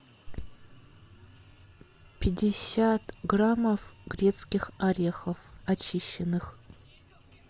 пятьдесят граммов грецких орехов очищенных